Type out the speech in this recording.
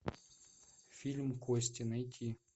фильм кости найти